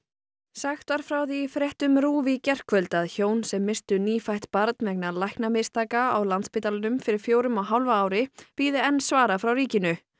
sagt var frá því í fréttum RÚV í gærkvöld að hjón sem misstu nýfætt barn vegna læknamistaka á Landspítalanum fyrir fjórum og hálfu ári bíði enn svara frá ríkinu